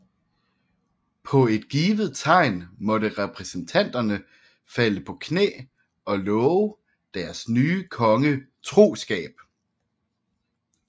På et givet tegn måtte repræsentanterne falde på knæ og love deres nye konge troskab